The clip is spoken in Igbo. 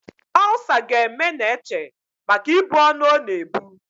Olsa ga-eme Neche maka ibu ọnụ ọ na-ebu.